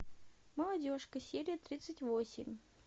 молодежка серия тридцать восемь